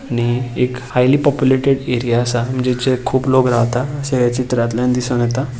आणि एक highly populated area आसा जेचे खूप लोक रावता अशे हे चित्रातल्यान दिसून येता.